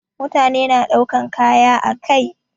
Mutane na daukan kaya ã kai.